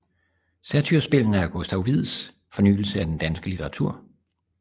Satyrspillene er Gustav Wieds fornyelse af den danske litteratur